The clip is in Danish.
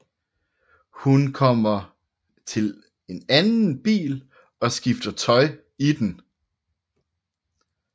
Hun da kommer til en anden bil og skifter tøj i den